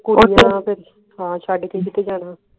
ਹਾਂ ਤੇ ਫੇਰ ਛੱਡ ਕੇ ਕਿਥੇ ਜਾਣਾ